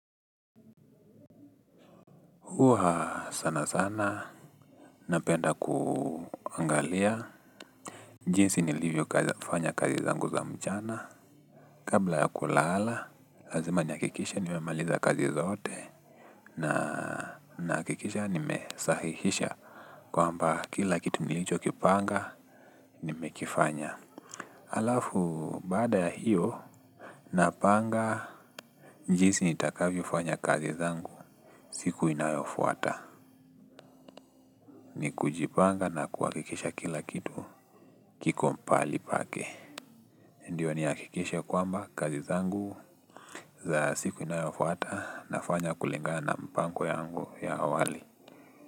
Uha sana sana, napenda kuangalia, jinsi nilivyo kufanya kazi zangu za mchana, kabla ya kulala, lazima niakikishe, nimemaliza kazi zote, na nakikisha nimesahihisha, kwamba kila kitu nilicho kipanga, nimekifanya. Alafu baada ya hiyo napanga njisi nitakavyo fanya kazi zangu siku inayofuata. Ni kujipanga na kuakikisha kila kitu kikompali pake. Ndiyo niakikishe kwamba kazi zangu za siku inayofuata nafanya kulingana na mpango yangu ya awali.